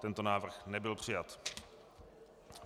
Tento návrh nebyl přijat.